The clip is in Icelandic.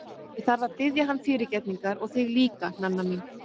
Ég þarf að biðja hann fyrirgefningar og þig líka, Nanna mín.